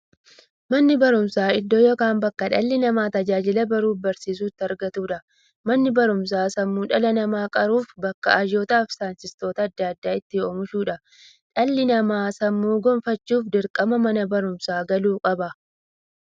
Manni baruumsaa iddoo yookiin bakkee dhalli namaa tajaajila baruufi barsiisuu itti argatuudha. Manni baruumsaa sammuu dhala namaa qaruufi bakka hayyootafi saayintistoota adda addaa itti oomishuudha. Dhalli namaa sammuun gufachuuf, dirqama Mana baruumsaa galuu qaba.